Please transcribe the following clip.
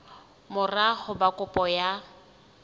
mora ho ba kopo ya